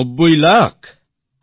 ৯০ lakh